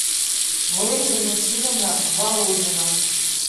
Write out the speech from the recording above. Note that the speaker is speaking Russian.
мери валентиновна володина